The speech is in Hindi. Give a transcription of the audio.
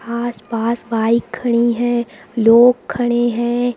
आस पास बाइक खड़ी हैं लोग खड़े हैं।